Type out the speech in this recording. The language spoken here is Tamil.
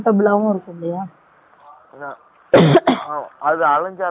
என்ன? அது அலைஞ்சு, அழைச்சு போகணும் இல்ல?